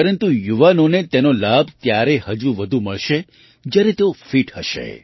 પરંતુ યુવાઓને તેનો લાભ ત્યારે હજુ પણ વધુ મળશે જ્યારે તેઓ ફિટ હશે